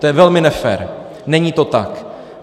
To je velmi nefér, není to tak.